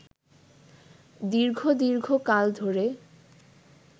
দীর্ঘ দীর্ঘ কাল ধরে